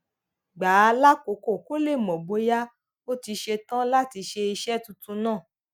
gbà á lákòókò kó lè mò bóyá ó ti ṣe tán láti ṣe iṣé tuntun náà